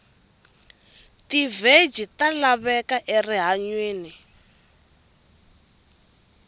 tiveji talavheka erihhanywini